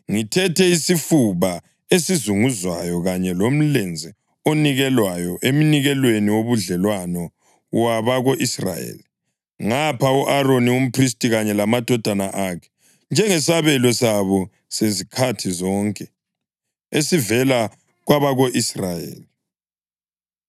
Ngithethe isifuba esizunguzwayo kanye lomlenze onikelwayo emnikelweni wobudlelwano wabako-Israyeli ngapha u-Aroni umphristi kanye lamadodana akhe njengesabelo sabo sezikhathi zonke esivela kwabako-Israyeli.’ ”